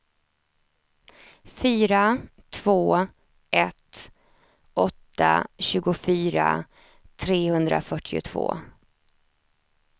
fyra två ett åtta tjugofyra trehundrafyrtiotvå